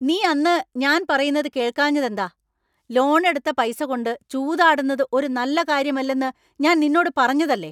നീ അന്ന് ഞാൻ പറയുന്നത് കേൾക്കാഞ്ഞത് എന്താ ? ലോൺ എടുത്ത പൈസ കൊണ്ട് ചൂതാടുന്നത് ഒരു നല്ല കാര്യമല്ലെന്ന് ഞാൻ നിന്നോട് പറഞ്ഞതല്ലേ.